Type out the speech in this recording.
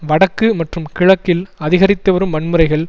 வடக்கு மற்றும் கிழக்கில் அதிகரித்துவரும் வன்முறைகள்